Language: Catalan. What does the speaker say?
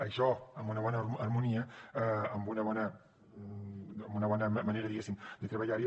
això amb una bona harmonia amb una bona manera de treballar hi